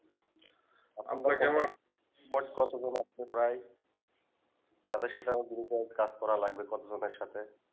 আপনার আমার but কত জন আছে প্রায় যাদের সাথে আমার group এ কাজ করা লাগবে কত জন এর সাথে